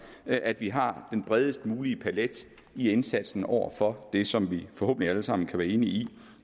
at vi har den bredest mulige palet i indsatsen over for det som vi forhåbentlig alle sammen kan være enige